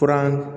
Fura